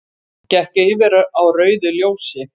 Gekk yfir á rauðu ljósi